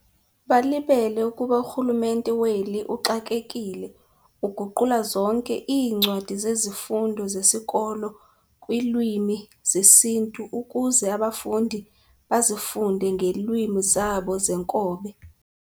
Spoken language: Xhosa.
Balibele ukuba urhulumente weli uxakekile uguqula zonke iincwadi zezifundo zesikolo kwiilwmi zesiNtu ukuze abafundi bazifunde ngelwimi zabo zenkobe.